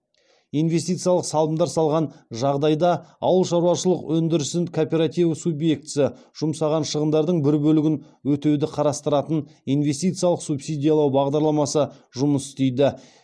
инвестициялық салымдар салған жағдайда ауыл шаруашылық өндірісін кооперативі субъектісі жұмсаған шығындардың бір бөлігін өтеуді қарастыратын инвестициялық субсидиялау бағдарламасы жұмыс істейді